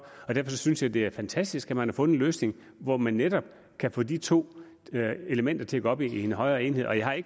og derfor synes jeg det er fantastisk at man har fundet en løsning hvor man netop kan få de to elementer til at gå op i en højere enhed og jeg